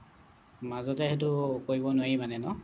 মাজতে সেইটো কৰিব নোৱাৰি মানে ন